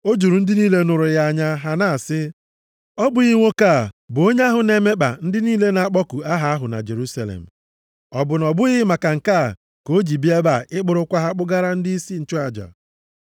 O juru ndị niile nụrụ ya anya, ha na asị, “Ọ bụghị nwoke a bụ onye ahụ na-emekpa ndị niile na-akpọku aha ahụ na Jerusalem? Ọ bụ na ọ bụghị maka nke a ka o ji bịa ebe a ịkpụrụkwa ha kpụgara ndịisi nchụaja?”